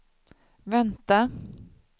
vänta